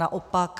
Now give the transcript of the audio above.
Naopak.